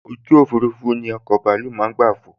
ojú òfurufú ni ọkọ̀ bàálù tí màá n fò